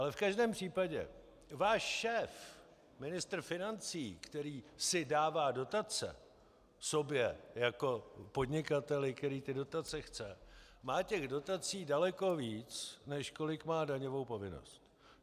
Ale v každém případě váš šéf, ministr financí, který si dává dotace sobě jako podnikateli, který ty dotace chce, má těch dotací daleko víc, než kolik má daňovou povinnost.